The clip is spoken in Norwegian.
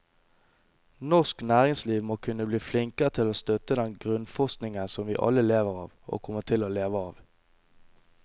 Norsk næringsliv må kunne bli flinkere til å støtte den grunnforskningen som vi alle lever av, og kommer til å leve av.